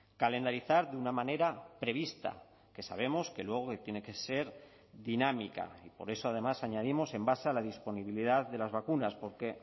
calendarizar de una manera prevista que sabemos que luego tiene que ser dinámica y por eso además añadimos en base a la disponibilidad de las vacunas porque